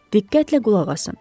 Diqqətlə qulaq asın.